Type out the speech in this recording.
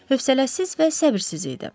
Hövsələsiz və səbirsiz idi.